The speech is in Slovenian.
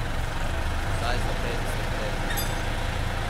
Vsaj za petdeset let ne.